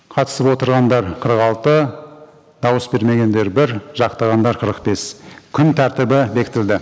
қатысып отырғандар қырық алты дауыс бермегендер бір жақтағандар қырық бес күн тәртібі бекітілді